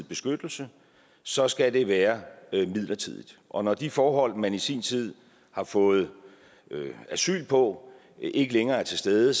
beskyttelse så skal det være midlertidigt og når de forhold man i sin tid har fået asyl på ikke længere er til stede